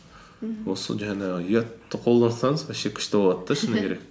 мхм осы жаңағы ұятты қолдансаңыз вообще күшті болады да шыны керек